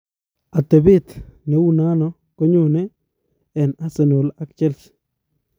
Atepet neu nano konyone en arsenal ak Chelsea